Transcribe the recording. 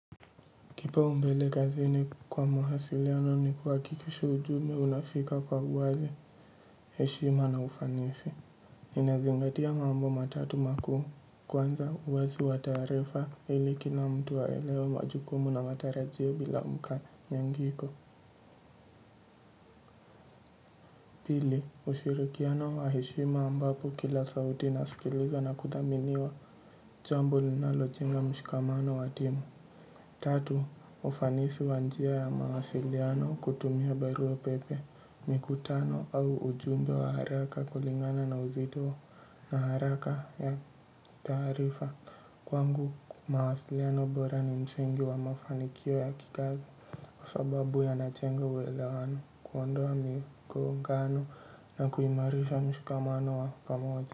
Kipaumbele kazini kwa mawasiliano ni kuhakikisha ujumbe unafika kwa uwazi, heshima na ufanisi. Inazingatia mambo matatu makuu. Kwanza uwazi wa taarifa ili kila mtu aelewe majukumu na matarajio bila mkanyangiko. Pili, ushirikiano wa heshima ambapo kila sauti nasikiliza na kudhaminiwa jambo linalojenga mshikamano wa timu. Tatu, ufanisi wa njia ya mawasiliano kutumia barua pepe. Mikutano au ujumbe wa haraka kulingana na uzito na haraka ya taarifa kwangu mawasiliano bora ni msingi wa mafanikio ya kikazi kwa sababu yanajenga uelewano kuondoa migongano na kuimarisha mshikamano wa pamoja.